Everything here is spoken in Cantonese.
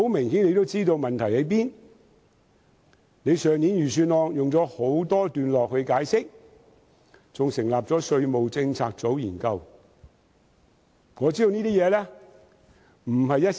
司長在去年的預算案中花了很多段落解釋，更成立稅務政策組研究問題。